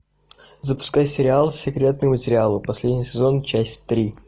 запускай сериал секретные материалы последний сезон часть три